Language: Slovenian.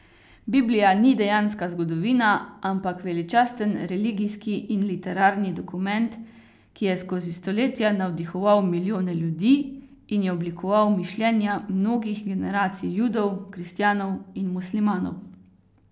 Biblija ni dejanska zgodovina, ampak veličasten religijski in literarni dokument, ki je skozi stoletja navdihoval milijone ljudi in je oblikoval mišljenja mnogih generacij Judov, kristjanov in muslimanov.